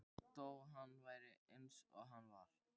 Þó hann væri eins og hann var.